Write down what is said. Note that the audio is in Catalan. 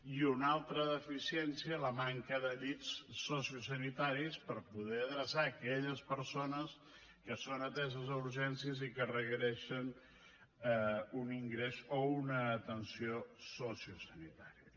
i una altra deficiència la manca de llits sociosanitaris per poder adreçar aquelles persones que són ateses a urgències i que requereixen un ingrés o una atenció sociosanitària